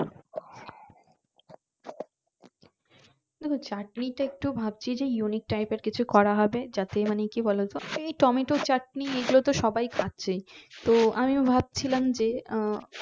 দেখো চাটনিতে একটু ভাবছি যে unique type এর কিছু করা হবে যাতে মানে কি বলতো সেই টমেটো চাটনি এগুলো তো সবাই খাচ্ছে তো আমি ভাবছিলাম যে আহ